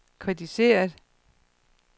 kritiseret